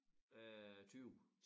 Øh 20